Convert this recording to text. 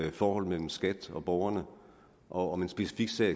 i forholdet mellem skat og borgerne og om en specifik sag